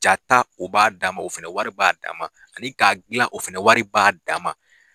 Jata o b'a dama o fɛnɛ wari b'a' dama ani k'a dilan o fɛnɛ wari b'a' dama.